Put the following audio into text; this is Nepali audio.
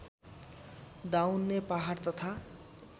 दाउन्ने पहाड तथा